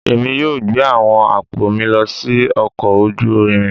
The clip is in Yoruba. Èmi yóò gbé àwọn àpò mi lọ sí ọkọ̀ ojú irin